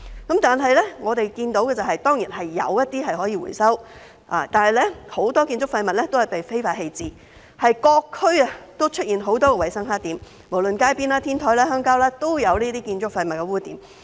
不過，我們看到的是，有一些廢物是可以回收的，但很多建築廢物均被非法棄置，在各區出現很多衞生黑點，無論是路邊、天台或鄉郊，也有這些建築廢物黑點。